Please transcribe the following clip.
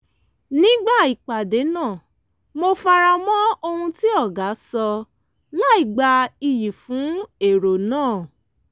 nígbà ìpàdé náà mo fara mọ́ ohun tí ọ̀gá sọ láìgba iyì fún èrò náà